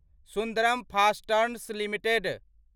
Sundaram fasteners limited